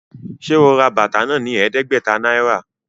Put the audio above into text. Ṣe o rà bàtà náà ní ẹdẹgbẹta náírà?